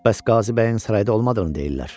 Bəs Qazı bəyin sarayda olmadığını deyirlər?